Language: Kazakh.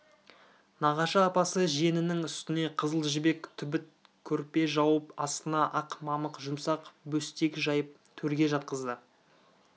нағашы апасы жиенінің үстіне қызыл жібек түбіт көрпе жауып астына ақ мамық жұмсақ бөстек жайып төрге жатқызды